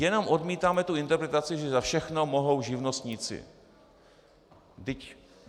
Jenom odmítáme tu interpretaci, že za všechno mohou živnostníci.